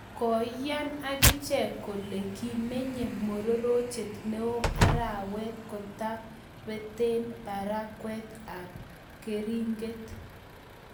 koiyaan agicheg kole kimenye mororchet neo arawet kotabaten parakyat ab keringeret